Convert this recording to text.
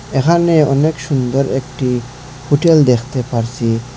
এখানে অনেক সুন্দর একটি হোটেল দেখতে পারছি।